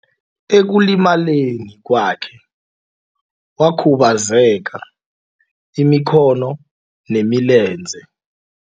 Ekulimaleni kwakhe wakhubazeka imikhono nemilenze.